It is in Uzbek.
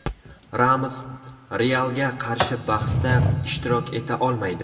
Ramos "Real"ga qarshi bahsda ishtirok eta olmaydi.